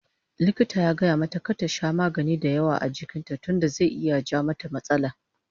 Likita ya gayamata kar ta sha magani dayawa a jikin ta tunda zai iya ja mata matsala